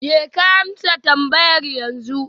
Jeka amsa tambayar yanzu